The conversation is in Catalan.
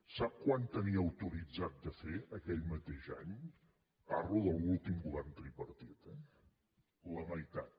sap quant tenia autoritzat de fer aquell mateix any parlo de l’últim govern tripartit eh la meitat